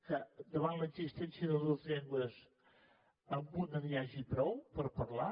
que davant l’existència de dues llengües amb una n’hi hagi prou per parlar